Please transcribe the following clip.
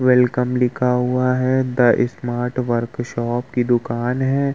Welcome लिखा हुआ है द स्मार्ट वर्कशॉप की दुकान है।